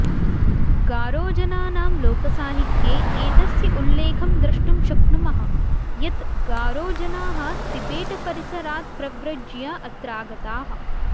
गारो जनानां लोकसाहित्ये एतस्य उल्लेखं द्रष्टुं शक्नुमः यत् गारोजनाः तिबेटपरिसरात् प्रव्रज्य अत्रागताः